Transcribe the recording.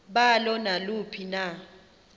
balo naluphi na